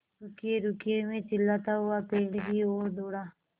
रुकिएरुकिए मैं चिल्लाता हुआ पेड़ की ओर दौड़ा